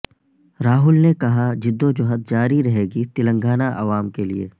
راہل نے کہا جدوجہد جاری رہے گی تلنگانہ عوام کے لیے